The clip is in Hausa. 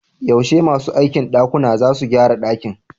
Yaushe masu aikin dakuna zasu gyara dakin?